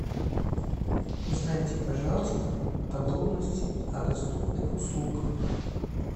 узнайте пожалуйста подробности о доступных услугах